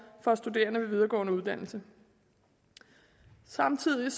for studerende ved videregående uddannelser samtidig